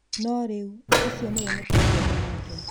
No rĩu, ũcio nĩwe mũtabania wake.